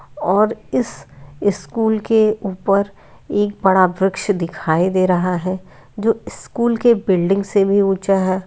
और इस स्कूल के उपर एक बड़ा वृक्ष दिखाई दे रहा है जो स्कूल के बिल्डिंग से भी उँचा है।